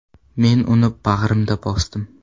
Men uni bag‘rimga bosdim.